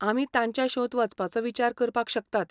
आमी तांच्या शोंत वचपाचो विचार करपाक शकतात.